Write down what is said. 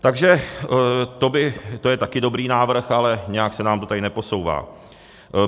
Takže to je taky dobrý návrh, ale nějak se nám to tady neposouvá.